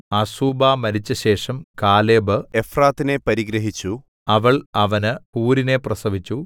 Azubah മരിച്ചശേഷം കാലേബ് എഫ്രാത്തിനെ പരിഗ്രഹിച്ചു അവൾ അവന് ഹൂരിനെ പ്രസവിച്ചു